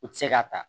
U ti se k'a ta